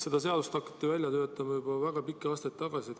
Seda seadust hakati välja töötama juba väga pikki aastaid tagasi.